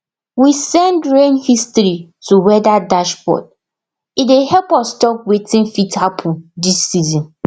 we send rain history to weather dashboard e dey help us talk wetin fit happen these season